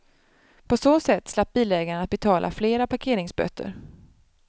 På så sätt slapp bilägaren att betala flera parkeringsböter.